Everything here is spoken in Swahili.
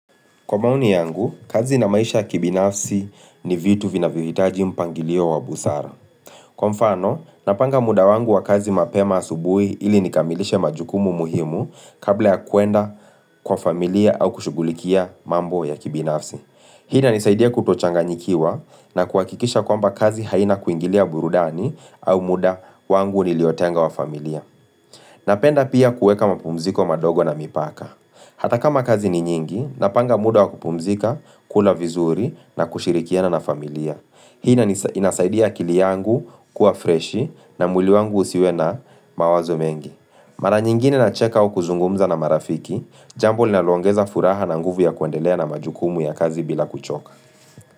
Kwa maoni yangu, kazi na maisha ya kibinafsi ni vitu vinavyohitaji mpangilio wa busara. Kwa mfano, napanga muda wangu wa kazi mapema asubuhi ili nikamilishe majukumu muhimu kabla ya kuenda kwa familia au kushughulikia mambo ya kibinafsi. Hii inanisaidia kutochanganyikiwa na kuhakikisha kwamba kazi haina kuingilia burudani au muda wangu niliotenga wa familia. Napenda pia kueka mapumziko madogo na mipaka. Hata kama kazi ni nyingi, napanga muda wa kupumzika, kula vizuri na kushirikiana na familia. Hii inasaidia akili yangu kuwa freshi na mwili wangu usiwe na mawazo mengi. Mara nyingine nacheka au kuzungumza na marafiki, jambo linalo ongeza furaha na nguvu ya kuendelea na majukumu ya kazi bila kuchoka.